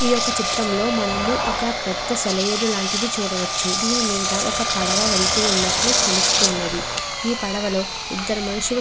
ఈ యొక్క చిత్రంలో మనం ఒక పెద్ద సెలయేరు లాంటిది చూడవచ్చు. దానిమీద ఒక పడవ వెళుతు నట్టు తెలుస్తుంది. ఈ పడవలో ఇద్దరు మనుషులు కూర్చుని ఉన్నారు.